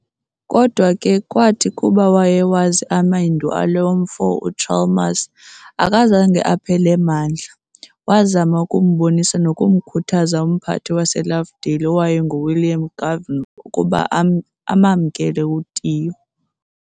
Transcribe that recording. kodwa ke kwathi kuba wayewazi amendu alo mfo uChalmers, akazange aphele mandla, wazama ukumbonisa nokumkhuthaza umphathi waseLovedale owayengu-William Goven ukuba amamkele u-Tiyo.